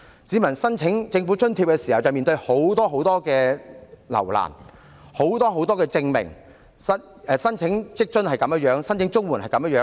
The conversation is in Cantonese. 市民申請政府津貼的時候遭到甚多留難，需要提交很多證明，不論申請在職家庭津貼或綜援也是這樣。